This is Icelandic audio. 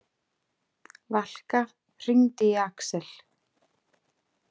Valka, hringdu í Axel.